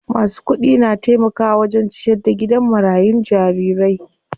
Masu kudi na taimakawa wajen ciyar da gidan marayun jarirai.